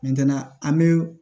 an bɛ